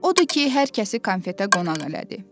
Odur ki, hər kəsi konfetə qonaq elədi.